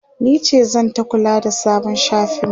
nice zanta kula da sabon shafin mu